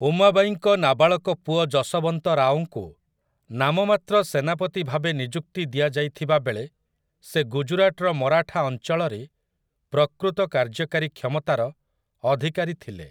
ଉମାବାଈଙ୍କ ନାବାଳକ ପୁଅ ଯଶବନ୍ତ ରାଓଙ୍କୁ ନାମମାତ୍ର ସେନାପତି ଭାବେ ନିଯୁକ୍ତି ଦିଆଯାଇଥିବା ବେଳେ ସେ ଗୁଜରାଟର ମରାଠା ଅଞ୍ଚଳରେ ପ୍ରକୃତ କାର୍ଯ୍ୟକାରୀ କ୍ଷମତାର ଅଧିକାରୀ ଥିଲେ ।